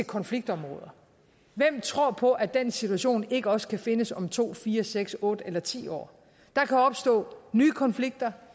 konfliktområder hvem tror så på at den situation ikke også kan findes om to fire seks otte eller ti år der kan opstå nye konflikter